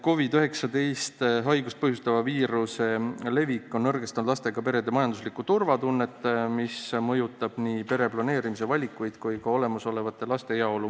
COVID-19 haigust põhjustava viiruse levik on nõrgestanud lastega perede majanduslikku turvatunnet ja see mõjutab nii pereplaneerimise valikuid kui ka olemasolevate laste heaolu.